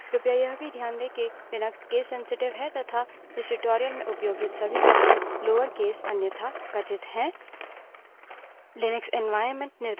कृपया यह भी ध्यान दें कि लिनक्स case sensitive है तथा इस tutorial में उपयोगित सभी commands lower case अन्यथा कथित हैं